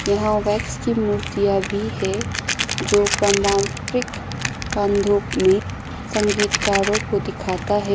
यहां वैक्स की मूर्तियां भी है जो प्रमांकित का धूप में संगीतकारों को दिखाता है।